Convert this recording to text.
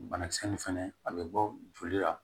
Banakisɛ nin fɛnɛ a bɛ bɔ joli la